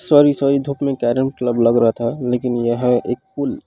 sorry sorry धुप मे carrom club लग रहा था लेकिन यह एक पूल --